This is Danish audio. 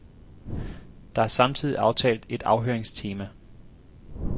Der er samtidig aftalt et afhøringstema.